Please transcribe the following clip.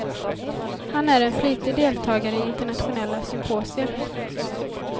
Han är en flitig deltagare i internationella symposier.